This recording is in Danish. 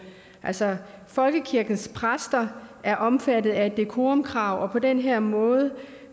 altså folkekirkens præster er omfattet af et decorumkrav og på den her måde